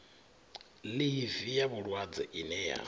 ḽivi ya vhulwadze ine ya